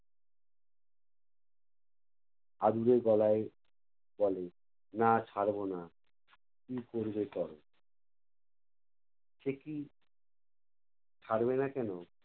আদুরে গলায় বলে, না ছাড়বো না। কী করবে করো। সে কী ছাড়বে না কেনো?